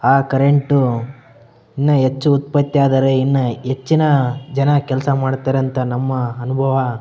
ಆ ಕರೆಂಟು ಇನ್ನು ಹೆಚ್ಚು ಉತ್ಪತ್ತಿ ಆದರೆ ಇನ್ನು ಹೆಚ್ಚು ಜನ ಕೆಲಸ ಮಾಡ್ತಾರೆ ಅಂತ ನಮ್ಮ ಅನುಭವ --